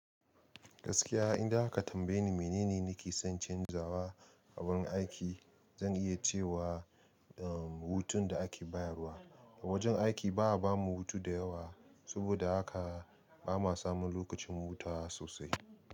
Gaskiya, idan aka tambaye ni menene nake son canzawa a wurin aiki, zan iya cewa, hutun da ake bayarwa. A wajen aiki ba a ba mu hutu da yawa, saboda haka ba ma samun lokacin hutawa sosai.